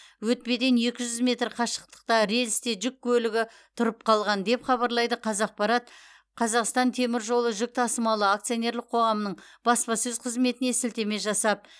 өтпеден екі жүз метр қашықтықта рельсте жүк көлігі тұрып қалған деп хабарлайды қазақпарат қазақстан темір жолы жүк тасымалы акционерлік қоғамы баспасөз қызметіне сілтеме жасап